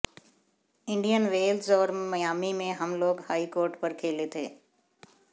Indian wells और Miami में हम लोग हार्डकोर्ट पर खेले थे